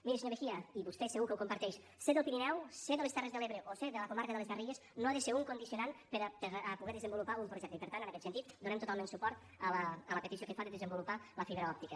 miri senyor mejía i vostè segur que ho comparteix ser del pirineu ser de les terres de l’ebre o ser de la comarca de les garrigues no ha de ser un condicionant per a poder desenvolupar un projecte i per tant en aquest sentit donem totalment suport a la petició que fa de desenvolupar la fibra òptica